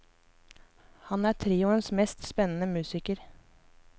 Han er trioens mest spennende musiker.